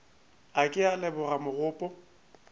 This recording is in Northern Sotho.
a ke a leboga mogopo